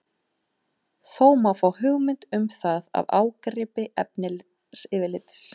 Þó má fá hugmynd um það af ágripi efnisyfirlits.